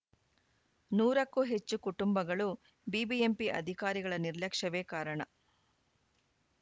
ನೂರಕ್ಕೂ ಹೆಚ್ಚು ಕುಟುಂಬಗಳು ಬಿಬಿಎಂಪಿ ಅಧಿಕಾರಿಗಳ ನಿರ್ಲಕ್ಷ್ಯವೇ ಕಾರಣ